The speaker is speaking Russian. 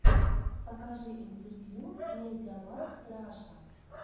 покажи интервью медиамаркт раша